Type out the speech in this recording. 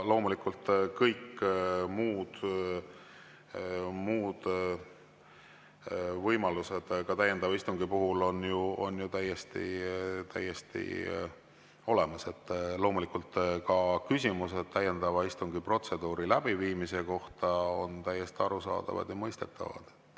Loomulikult on kõik muud võimalused täiendava istungi puhul ju täiesti olemas, ka küsimused täiendava istungi protseduuri läbiviimise kohta on täiesti arusaadavad ja mõistetavad.